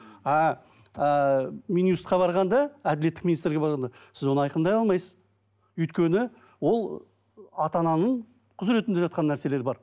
а ііі минюст қа барғанда әділеттік министрге барғанда сіз оны айқындай алмайсыз өйткені ол ата ананың құзыретінде жатқан нәрселер бар